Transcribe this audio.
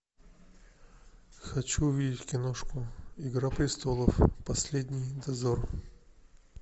хочу увидеть киношку игра престолов последний дозор